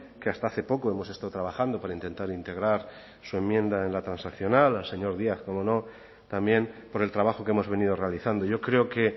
que hasta hace poco hemos estado trabajando para intentar integrar su enmienda en la transaccional al señor díez cómo no también por el trabajo que hemos venido realizando yo creo que